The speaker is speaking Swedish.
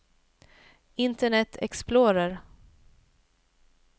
internet explorer